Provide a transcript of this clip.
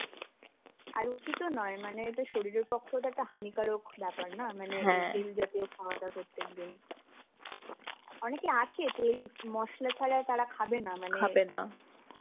আর উচিতও নয় মানে এটা শরীরের পক্ষেও একটা হানীকারক ব্যাপার না, মানে তেল জাতীয় খাওয়াটা প্রত্যেকদিন. অনেকে আছে, তেল মশলা ছাড়া তারা খাবে না. মানে